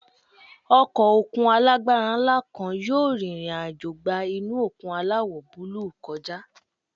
Ọkọ̀ òkun alágbára ńlá kan yóò rìnrìn àjò gba inú òkun aláwọ̀ búlúù kọjá.